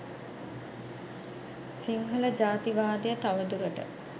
සිංහල ජාතිවාදය තව දුරට